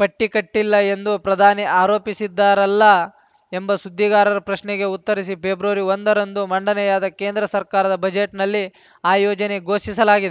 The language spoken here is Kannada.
ಪಟ್ಟಿಕಟ್ಟಿಲ್ಲ ಎಂದು ಪ್ರಧಾನಿ ಆರೋಪಿಸಿದ್ದಾರಲ್ಲ ಎಂಬ ಸುದ್ದಿಗಾರರ ಪ್ರಶ್ನೆಗೆ ಉತ್ತರಿಸಿ ಪೆಬ್ರವರಿ ಒಂದರಂದು ಮಂಡನೆಯಾದ ಕೇಂದ್ರ ಸರ್ಕಾರದ ಬಜೆಟ್‌ನಲ್ಲಿ ಆ ಯೋಜನೆ ಘೋಷಿಸಲಾಗಿದೆ